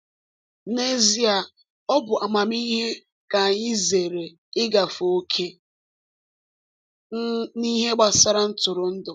N’ezie, ọ bụ amamihe ka anyị zere igafe ókè um n’ihe gbasara ntụrụndụ.